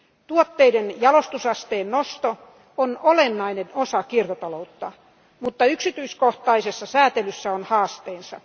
Tuotteiden jalostusasteen nosto on olennainen osa kiertotaloutta, mutta yksityiskohtaisessa säätelyssä on haasteensa.